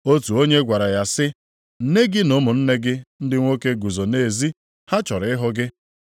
Otu onye gwara ya sị, “Nne gị na ụmụnne gị ndị nwoke guzo nʼezi, ha chọrọ ịhụ gị.”